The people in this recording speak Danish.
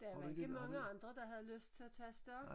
Der var ikke mange andre der havde lyst til at tage afsted